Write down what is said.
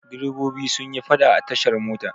Direbobi sun yi faɗa a tashar mota.